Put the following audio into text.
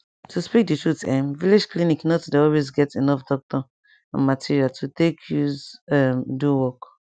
to speak the truth[um]village clinic not dey always get enough doctor and material to take use um do work